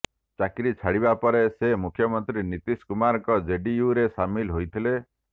ଚାକିରି ଛାଡ଼ିବା ପରେ ସେ ମୁଖ୍ୟମନ୍ତ୍ରୀ ନୀତୀଶ କୁମାରଙ୍କ ଜେଡିୟୁରେ ସାମିଲ ହୋଇଥିଲେ